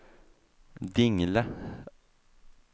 Dingle